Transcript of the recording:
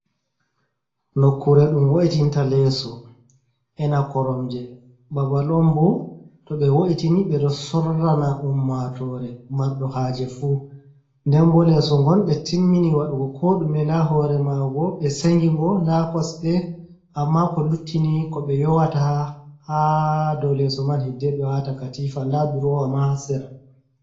Nokkure ɗum wo’itinta leeso ena korom je babal on bo to be wo’itini be do sorrana ummatore mardo haje fu, denbo leso ngon be timmini waɗugo koɗume da hore mago be sengingo da kosɗe amma ko luttini ko be yowata ha do leso man hiddebe wata katifa nda durowama hasera.